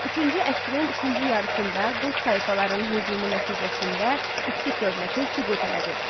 Üçüncü əsrin ikinci yarısında Qot tayfalarının hücumu nəticəsində Skit dövləti süqut elədi.